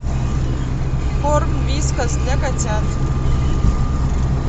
корм вискас для котят